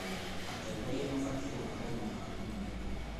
Atongoria mabatiĩ gũkorwo mũhano mwega.